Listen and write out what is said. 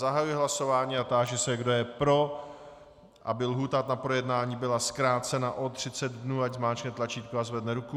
Zahajuji hlasování a táži se, kdo je pro, aby lhůta na projednání byla zkrácena o 30 dnů, ať zmáčkne tlačítko a zvedne ruku.